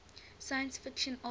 science fiction authors